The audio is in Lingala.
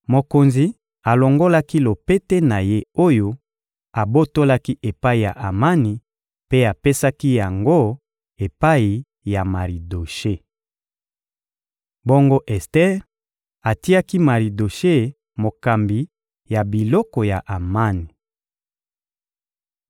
Mokonzi alongolaki lopete na ye oyo abotolaki epai ya Amani mpe apesaki yango epai ya Maridoshe. Bongo Ester atiaki Maridoshe mokambi ya biloko ya Amani.